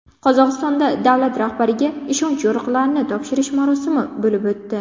Qozog‘istonda davlat rahbariga ishonch yorliqlarini topshirish marosimi bo‘lib o‘tdi.